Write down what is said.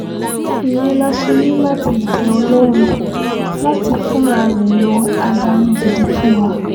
ìyẹn la ṣe ní láti bẹ ọlọ́run láti fúnra rẹ̀ yan adarí gidi fún wa